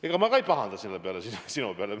Ega ma selle pärast sinu peale ei pahanda.